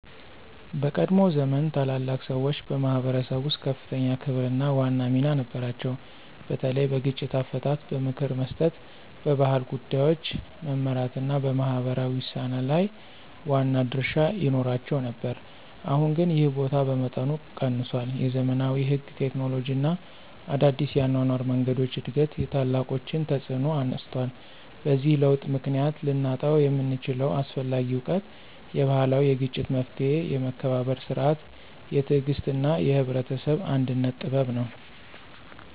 በቀድሞ ዘመን ታላላቅ ሰዎች በማኅበረሰብ ውስጥ ከፍተኛ ክብርና ዋና ሚና ነበራቸው፤ በተለይ በግጭት አፈታት፣ በምክር መስጠት፣ በባህል ጉዳዮች መመራት እና በማህበራዊ ውሳኔ ላይ ዋና ድርሻ ይኖራቸው ነበር። አሁን ግን ይህ ቦታ በመጠኑ ቀንሷል፤ የዘመናዊ ሕግ፣ ቴክኖሎጂ እና አዲስ የአኗኗር መንገዶች እድገት የታላቆችን ተፅዕኖ አነስቷል። በዚህ ለውጥ ምክንያት ልናጣው የምንችለው አስፈላጊ እውቀት የባህላዊ የግጭት መፍትሔ፣ የመከባበር ሥርዓት፣ የትዕግሥት እና የህብረተሰብ አንድነት ጥበብ ነው።